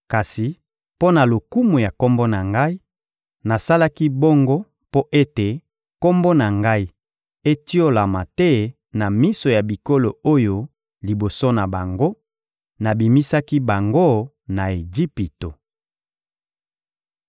Kasi mpo na lokumu ya Kombo na Ngai, nasalaki bongo mpo ete Kombo na Ngai etiolama te na miso ya bikolo oyo liboso na bango, nabimisaki bango na Ejipito.